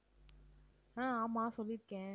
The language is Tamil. அஹ் ஆமா சொல்லி இருக்கேன்.